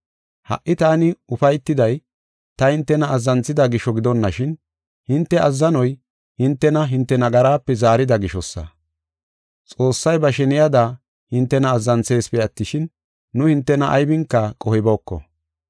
Ha77i taani ufaytiday, ta hintena azzanthida gisho gidonashin, hinte azzanoy hintena hinte nagarape zaarida gishosa. Xoossay ba sheniyada hintena azzanthisipe attishin nu hintena aybinka qohibooko.